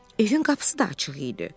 Evin qapısı da açıq idi.